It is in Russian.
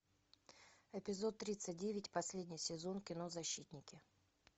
эпизод тридцать девять последний сезон кино защитники